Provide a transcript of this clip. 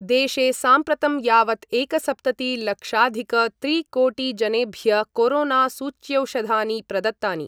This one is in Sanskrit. देशे साम्प्रतं यावत् एकसप्तति लक्षाधिक त्रि कोटि जनेभ्य कोरोना सूच्यौषधानि प्रदत्तानि।